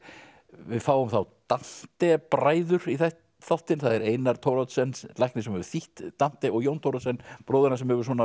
við fáum þá bræður í þáttinn það er Einar Thoroddsen læknir sem hefur þýtt Dante og Jón Thoroddsen bróðir hans sem hefur